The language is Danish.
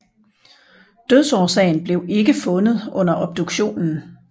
Dødsårsagen blev ikke fundet under obduktionen